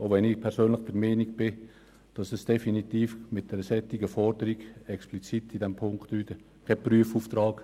Dies, wenngleich ich persönlich der Meinung bin, eine solche Forderung wie in Punkt 3 sei explizit kein Prüfauftrag.